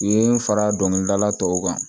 U ye n fara dɔnkilidala tɔw kan